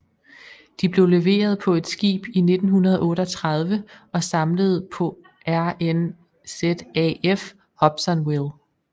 De blev leveret på et skib i 1938 og samlet på RNZAF Hobsonville